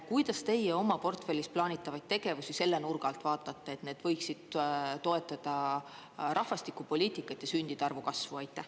Kuidas teie oma portfellis plaanitavaid tegevusi selle nurga alt vaatate, et need võiksid toetada rahvastikupoliitikat ja sündide arvu kasvu?